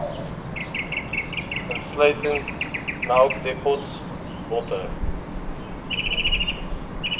insluitend melkdepots botter